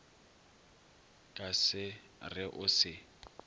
ka se re o se